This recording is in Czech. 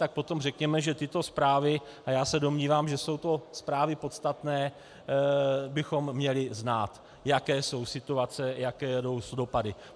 Tak potom řekněme, že tyto zprávy, a já se domnívám, že jsou to zprávy podstatné, bychom měli znát, jaké jsou situace, jaké jsou dopady.